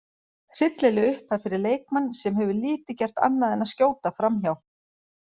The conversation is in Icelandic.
Hryllileg upphæð fyrir leikmann sem hefur lítið gert annað en að skjóta framhjá.